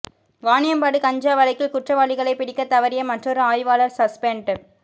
வாணியம்பாடி கஞ்சா வழக்கில் குற்றவாளிகளை பிடிக்கத் தவறிய மற்றொரு ஆய்வாளர் சஸ்பெண்ட்